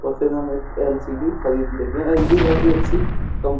और फिर हम एक एलसीडी खरीद लेंगे एलजी काफी अच्छी --